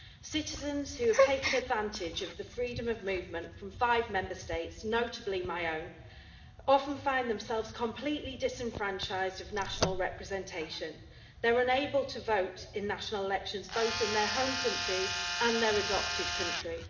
Citizens who have taken advantage of the freedom of movement from five Member States, notably my own, often find themselves completely disenfranchised of national representation. They are unable to vote in national elections, both in their home country and in their adopted country.